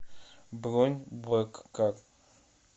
бронь блэк кар